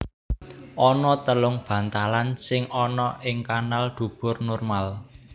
Ana telung bantalan sing ana ing kanal dubur normal